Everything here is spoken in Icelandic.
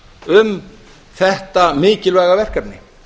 um þetta mikilvæga verkefni